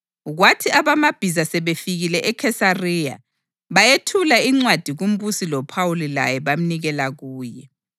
Kwathi abamabhiza sebefikile eKhesariya bayethula incwadi kumbusi loPhawuli laye bamnikela kuye.